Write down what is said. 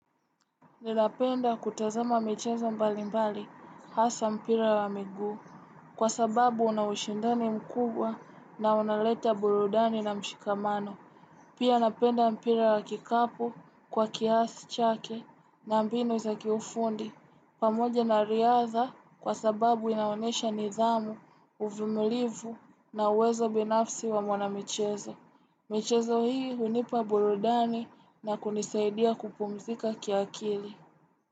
Ninapenda kutazama michezo mbali mbali. Hasa mpira wa miguu. Kwa sababu una ushindani mkubwa na unaleta burudani na mshikamano. Pia napenda mpira wa kikapu kwa kiasi chake na mbinu za kiufundi. Pamoja na riadha kwa sababu inaonesha nidhamu, uvumulivu na uwezo binafsi wa mwana michezo. Michezo hii unipa burudani na kunisaidia kupumzika kiakili.